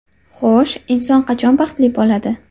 Xo‘sh, inson qachon baxtli bo‘ladi?